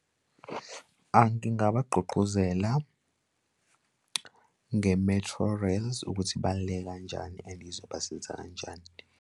Ngingabagqugquzela nge-Metrorails ukuthi ibaluleke kanjani and izobasiza kanjani.